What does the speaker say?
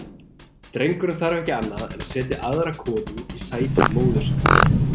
Drengurinn þarf ekki annað en setja aðra konu í sæti móður sinnar.